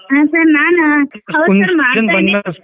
ಹಾ sir ನಾನು ಹೌದ sir .